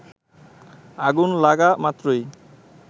আগুন লাগা মাত্রই